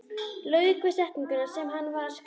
Lauk við setninguna sem hann var að skrifa.